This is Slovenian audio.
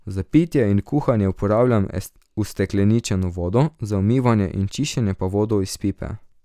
Za pitje in kuhanje uporabljam ustekleničeno vodo, za umivanje in čiščenje pa vodo iz pipe.